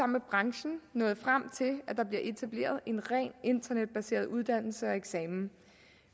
med branchen nået frem til at det bliver etableret en rent internetbaseret uddannelse og eksamen